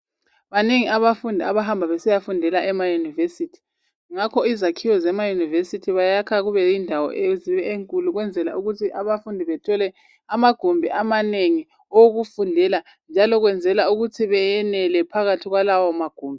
Banengi abafundi abahamba besiyafundela emaYunivesi ngakho izakhiwo zemaYunivesi bayakha kube yindawo enkulu ukwenzela ukuthi abafundi bethole amagumbi amanengi okufundela njalo kwenzelwa ukuthi beyenele phakathi kwalawo magumbi.